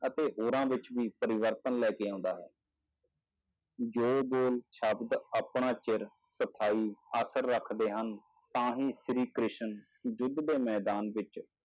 ਅਤੇ ਹੋਰਾਂ ਵਿੱਚ ਵੀ ਪਰਿਵਰਤਨ ਲੈ ਕੇ ਆਉਂਦਾ ਹੈ ਜੋ ਬੋਲ ਸ਼ਬਦ ਆਪਣਾ ਚਿਰ ਸਫ਼ਾਈ ਆਖਰ ਰੱਖਦੇ ਹਨ, ਤਾਂ ਹੀ ਸ੍ਰੀ ਕ੍ਰਿਸ਼ਨ ਯੁੱਧ ਦੇ ਮੈਦਾਨ ਵਿੱਚ